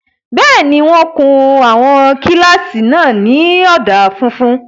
Bẹ́ẹ̀ni, wọ́n kun àwọn kílásì náà ní ọ̀dà funfun